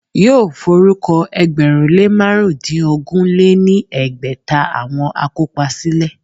Yóò forúkọ ẹgbẹ̀rún lé márùndínogún lé ní ẹgbẹ́ta àwọn akópa sílẹ̀